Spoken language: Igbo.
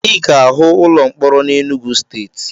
Ị ga-ahụ ụlọ mkpọrọ na Enugwu Steeti